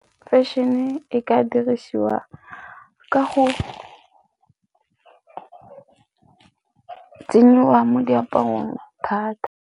Fashion-e e ka dirisiwa ka go tsenyiwa mo diaparong thata.